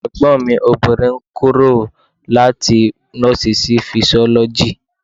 Ẹ̀gbọ́n mi obìnrin kúrò láti nọ́ọ̀sì sí fisiọ́lọ́jì.